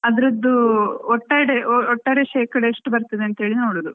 ಅದ್ರದ್ದು ಒಟ್ಟಾಡೆ ಒಟ್ಟಾರೆ ಶೇಕಡಾ ಎಷ್ಟು ಬರ್ತದೆ ಅಂತ ಹೇಳಿ ನೋಡುದು.